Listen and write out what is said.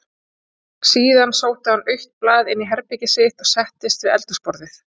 Síðan sótti hann autt blað inní herbergið sitt og settist við eldhúsborðið.